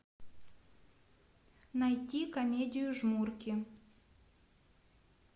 найти комедию жмурки